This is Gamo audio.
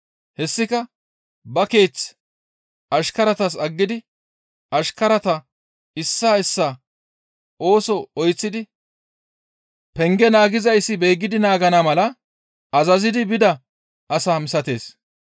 Hessika ba keeth ashkaratas aggidi ashkarata issaa issaa ooso oyththidi penge naagizayssi beeggidi naagana mala azazidi bida asa misatees.